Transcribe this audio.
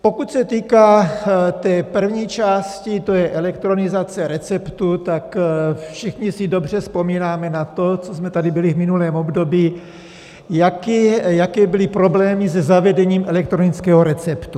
Pokud se týká té první části, to je elektronizace receptu, tak si všichni dobře vzpomínáme na to, co jsme tady byli v minulém období, jaké byly problémy se zavedením elektronického receptu.